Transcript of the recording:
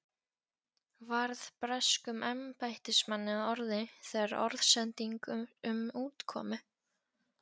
varð breskum embættismanni að orði, þegar orðsending um útkomu